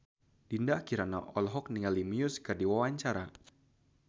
Dinda Kirana olohok ningali Muse keur diwawancara